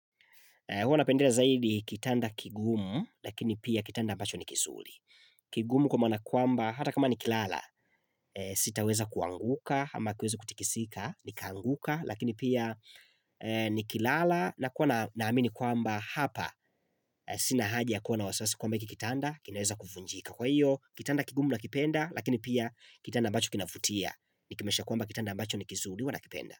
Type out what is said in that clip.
Hua napendea zaidi kitanda kigumu lakini pia kitanda ambacho ni kizuri. Kigumu kwa maana kwamba hata kama ni kilala sitaweza kuanguka ama kueza kutikisika nikaanguka lakini pia ni kilala na kuwa naamini kwamba hapa sina haji ya kuwa na wasawasi kwamba hiki kitanda kinaweza kuvunjika. Kwa hiyo kitanda kigumu nakipenda lakini pia kitanda ambacho kinavutia nikimaanisha kwamba kitanda ambacho ni kizuri, huwa nakipenda.